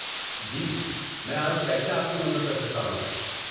جی، میں آج کیسے آپ کی مدد کر سکتا ہوں؟